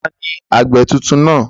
Taàní àgbẹ̀ tuntun náà?